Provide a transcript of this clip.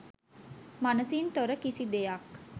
මනසින් තොර කිසි දෙයක්